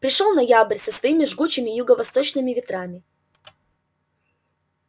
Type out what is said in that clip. пришёл ноябрь со своими жгучими юго-восточными ветрами